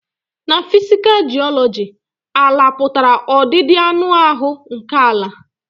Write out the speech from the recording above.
Ná physical geology, àlà pụtara ọdịdị anụ áhụ nkè àlà.